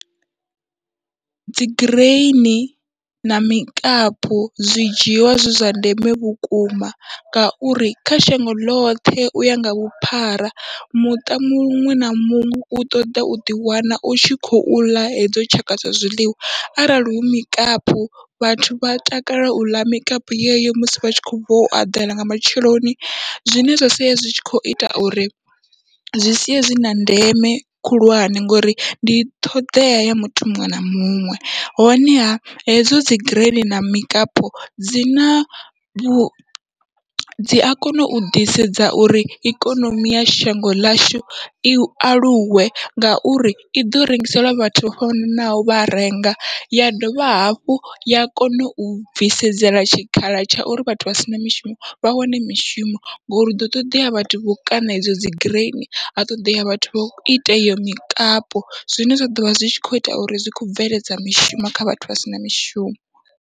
Dzi gireini na mikapu zwi dzhiwa zwi zwa ndeme vhukuma, ngauri kha shango ḽoṱhe uya nga vhuphara muṱa muṅwe na muṅwe u ṱoḓa u ṱoḓa uḓi wana utshi khou ḽa hedzo tshaka dza zwiḽiwa, arali hu mikapu vhathu vha takalela uḽa mikapu yeyo musi vha tshi kho bva u eḓela nga matsheloni, zwine zwa sia zwi tshi kho ita uri zwi sia zwina ndeme khulwane ngori ndi ṱhoḓea ya muthu muṅwe na muṅwe, honeha hedzo dzi gireini na mikapu dzina vhu dzia kona u ḓisedza uri ikonomi ya shango ḽashu i aluwe. Ngauri iḓo rengisela vhathu vha fanaho vha renga ya dovha hafhu ya kona u bvisedzela tshikhala tsha uri vhathu vha sina mishumo vha wane mishumo, ngori huḓo ṱoḓea vhathu vho kaṋa idzo dzi gireini ha ṱoḓea vhathu vho ita iyo mikapu, zwine zwa ḓovha zwi kho ita uri zwi kho bveledza mishumo kha vhathu vha sina mishumo.